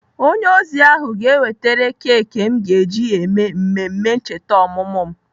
Onye ozi ahụ ga-ewetere keki m ga-eji eme mmemme ncheta ọmụmụ m.